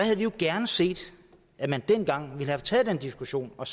jo gerne set at man dengang havde taget den diskussion og